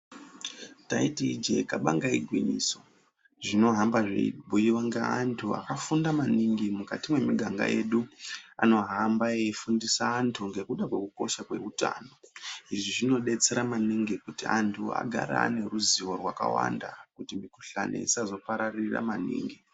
Taiti ijee kabanga igwinyiso, zvinohamba zveibhuyiwa ngeantu akafunda maningi, mukati mwemiganga yedu. Anohamba eifundisa antu ngekuda kwekukosha kweutano. Izvi zvinodetsera maningi kuti antu agare ane ruzivo rwakawanda ,kuti mikhuhlani isazopararira maningi.